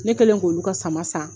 Ne kɛlen k'olu ka sama san